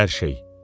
Hər şey.